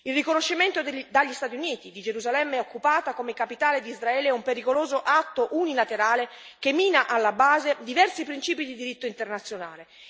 Il riconoscimento dagli Stati Uniti di Gerusalemme occupata come capitale di Israele è un pericoloso atto unilaterale che mina alla base diversi principi di diritto internazionale.